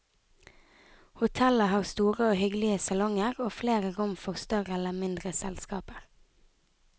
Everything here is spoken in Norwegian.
Hotellet har store og hyggelige salonger og flere rom for større eller mindre selskaper.